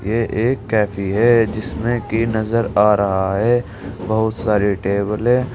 ये एक कैफे है जिसमें कि नजर आ रहा है बहुत सारे टेबलें ।